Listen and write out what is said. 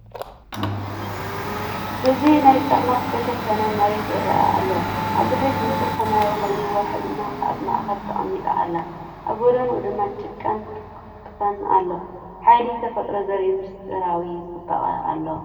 እዚ ነቲ ብጸልማት ዝተሸፈነ መሬት ይረአ አሎ፤ ኣብ ድሕሪት ንጹር ሰማይ ኮይኑ ወርሒ ድማ ኣብ ማእከል ተቐሚጣ ኣላ። ኣብ ጎድኑ ድማ ጭቃን ትክን ኣሎ፡ ሓይሊ ተፈጥሮ ዘርኢ ምስጢራዊ ጽባቐ ኣሎ።